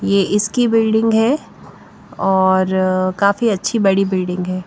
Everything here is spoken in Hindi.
ये इसकी बिल्डिंग है और काफी अच्छी बड़ी बिल्डिंग है।